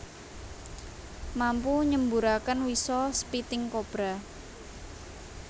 Mampu nyemburaken wisa spitting cobra